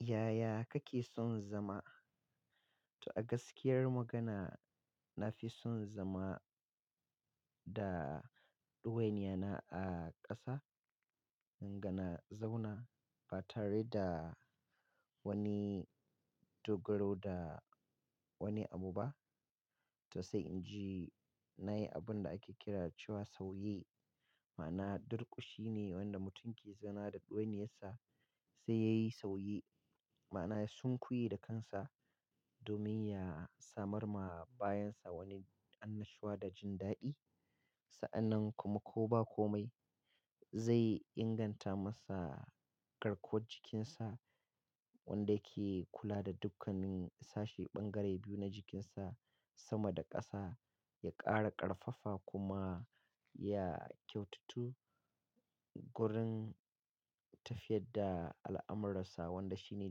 Yaya kake son zama? To a gaskiyar magana, na fi son zama da ɗuwaini yana a ƙasa, ga na zauna ba tare da wani dogaro da wani abu ba. To sai in ji na yi abun da ake kira cewa sauye, ma'ana durƙushi ne wanda mutum ke zana da ɗuwaini yansa sai ya yi sauye. Ma'ana sun kuye da kansa domin ya samar ma bayansa wani annashuwa da jin daɗi. Sa'anan kuma ko ba komai zai inganta masa garkuwar jikinsa wanda yake kula da dukkanin sashe ɓangare biyu na jikinsa sama da ƙasa, ya ƙara ƙarfafa kuma ya kyaututu gurin tafiyar da al'amuransa wanda shine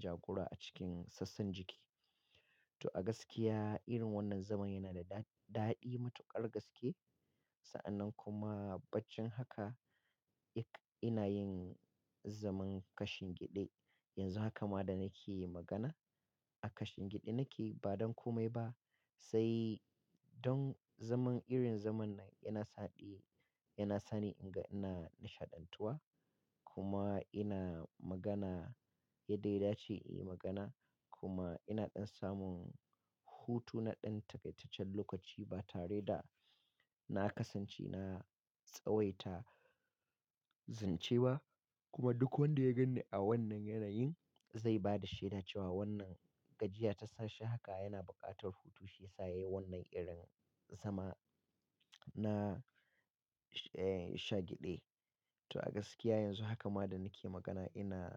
jagora a cikin sassan jiki. To a gaskiya irin wannan zaman yana da daɗi matuƙar gaske. Sa'anan kuma baccin haka ina yin zaman kashin gyaɗe. Yanzu haka ma da nake yi magana a kashin gyaɗe nake ba don komai ba. Sai don zaman irin zaman nan yana saɗi, yana sani ina nishaɗantuwa kuma ina magana yadda ya dace in yi magana kuma ina ɗan samun hutu na ɗan takaitaccen lokaci ba tare da na kasance na tsawaita zance ba. Kuma duk wanda ya ganni a wannan yanayin zai ba da shaida cewa wannan gajiya ta sashi haka yana buƙatar hutu shiyasa yayi wannan irin zama na, eh shagyaɗe. To a gaskiya yanzu haka ma da nake magana ina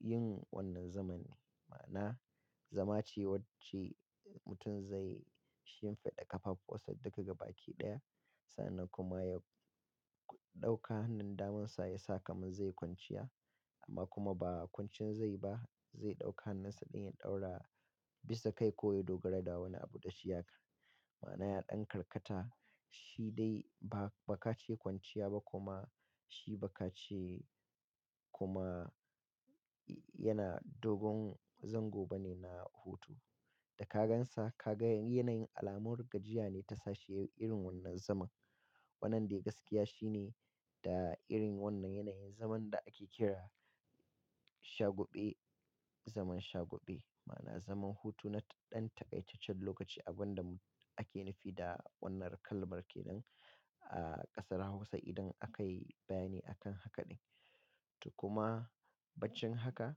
yin wannan zama ne. Ma'ana zama ce wacce mutum zai shimfiɗa ƙafafuwasa duka gabaƙi ɗaya. Sa'anan kuma ya ɗauka hannun damansa yasa kaman zai yi kwanciya amma kuma ba kwancin zai ba. Zai ɗauka hannunsa neh ya ɗaura bisa kai ko ya dogara da wani abu da shi haka. Ma'ana ya ɗan karkata shi dai ba ka ce kwanciya ba kuma shi ba ka ce kuma yana dogon zango ba ne na hutu. Da ka gan sa ka ga yanayin alamun gajiya ne ta sashi yayi irin wannan zaman. Wannan dai gaskiya shi ne da irin wannan yanayin zaman da ake kira shagube, zaman shagube. Ma'ana zaman hutu na ɗan takaitaccen lokaci abunda ake nufi da wannan kalmarkenan a ƙasar Hausa idan aka yi bayani akan haka ɗin. To kuma baccin haka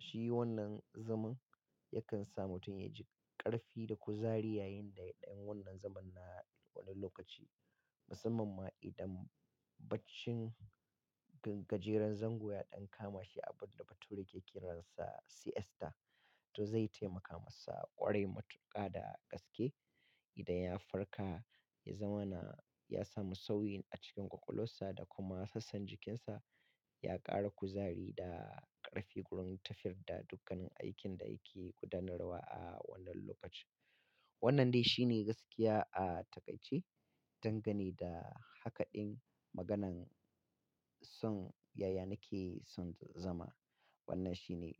shi wannan zaman yakan sa mutum ya ji ƙarfi da kuzari yayinda ya ɗan wannan zaman na wani lokaci. Musamman ma idan baccin gajerar zango ya ɗan kama shi abun da bature ke kiransa CS ta. To zai taimaka masa ƙwarai matuƙa da gaske idan ya farka ya zama na, ya samu sauyi a cikin ƙwaƙwalwarsa da kuma sassan jikinsa. Ya ƙara kuzari da ƙarfi gurin tafiyar da dukkanin aikin da yake gudanarwa a wannan lokacin. Wannan dai shi ne gaskiya a takai ce. Dan gane da haka ɗin maganan son yaya nake son zama. Wannan shi ne.